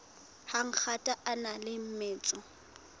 hangata a na le metso